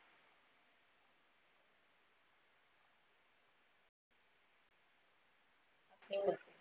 ते होत